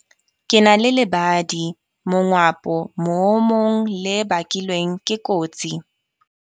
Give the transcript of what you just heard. Ke na le lebadi mongwapo moomong le bakilweng ke kotsi